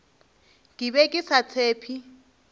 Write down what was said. ke be ke sa tshephe